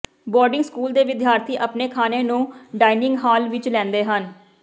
boarding school ਦੇ ਵਿਦਿਆਰਥੀ ਆਪਣੇ ਖਾਣੇ ਨੂੰ ਡਾਈਨਿੰਗ ਹਾਲ ਵਿਚ ਲੈਂਦੇ ਹਨ